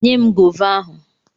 Nye m gova ahụ!